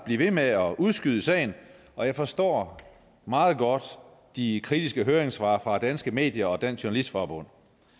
blive ved med at udskyde sagen og jeg forstår meget godt de kritiske høringssvar fra danske medier og dansk journalistforbund